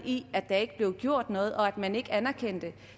i at der ikke blev gjort noget og at man ikke anerkendte